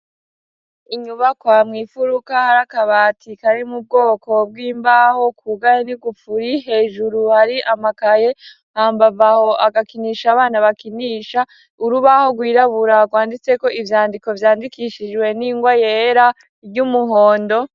Inyubakwa mw'ifuruka hari akabati kari mu bwoko bw'imbaho kugaye n'igupfuri, hejuru hari amakaye, hambavu aho agakinisha abana bakinisha urubaho rwirabura rwanditseko ivyandiko vyandikishijwe n'ingwa yera ry'umuhondo.